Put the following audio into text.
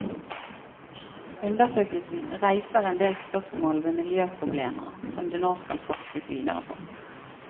Undersøkelsen reiser en del spørsmål ved miljøproblemer, som det nå skal forskes videre på.